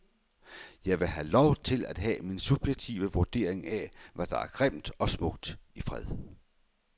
Jeg vil have lov til at have min subjektive vurdering af, hvad der er grimt og smukt i fred.